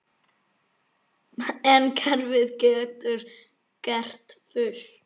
En kerfið getur gert fullt.